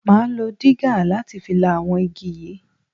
Máa lo digger láti fi la àwọn igi yìí.